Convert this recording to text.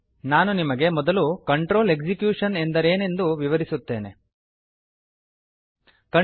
ನಾನು ನಿಮಗೆ ಮೊದಲು ಕಂಟ್ರೋಲ್ ಎಕ್ಸಿಕ್ಯೂಷನ್ ಕಂಟ್ರೋಲ್ ಎಕ್ಸಿಕ್ಯೂಶನ್ ಎಂದರೇನೆಂದು ವಿವರಿಸುತ್ತೇನೆ